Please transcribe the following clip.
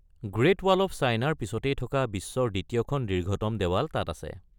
Great wall of চাইনাৰ পিছতেই থকা বিশ্বৰ দ্বিতীয়খন দীৰ্ঘতম দেৱাল তাত আছে।